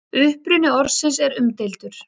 Uppruni orðsins er umdeildur.